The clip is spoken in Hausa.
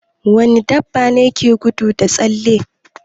Wani dabbane ke gudu da tsalle?